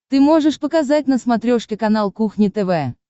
ты можешь показать на смотрешке канал кухня тв